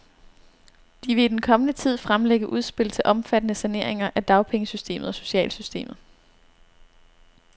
De vil i den kommende tid fremlægge udspil til omfattende saneringer af dagpengesystemet og socialsystemet.